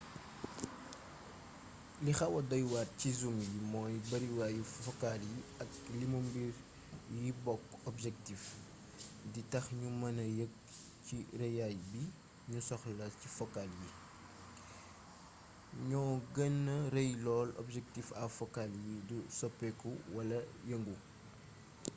li xawa doywaar ci zoom yi mooy bariwaayu focale bi ak limu mbir yi bokk objectif di tax ñu mêna yegg ci rëyaay bi ñu soxla ci focale yi ñoo gëna rëy lool objectif à focale yi du soppiku wala yëngu